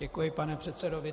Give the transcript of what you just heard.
Děkuji pane předsedo.